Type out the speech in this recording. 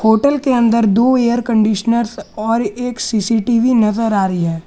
Hotel के अंदर दो एयर कंडीशनर और एक सी_सी_टी_वी नजर आ रही है।